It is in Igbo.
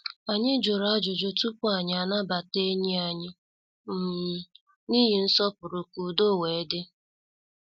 Anyị jụrụ ajụjụ tupu anyị anabata enyi anyị um n' ihi nsọpụrụ ka udo wee dị.